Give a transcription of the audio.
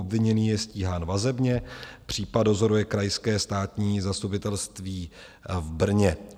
Obviněný je stíhán vazebně, případ dozoruje Krajské státní zastupitelství v Brně.